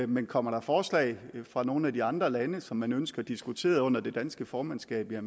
men kommer der forslag fra nogle af de andre lande som man ønsker diskuteret under det danske formandskab vil